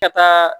Ka taa